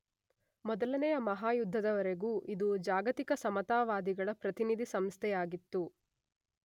ಮೊದಲನೆಯ ಮಹಾಯುದ್ಧದವರೆಗೂ ಇದು ಜಾಗತಿಕ ಸಮತಾವಾದಿಗಳ ಪ್ರತಿನಿಧಿ ಸಂಸ್ಥೆಯಾಗಿತ್ತು.